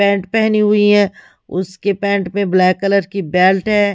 Pant पेहनी हुई है उसके पैंट पे ब्लैक कलर की बेल्ट है।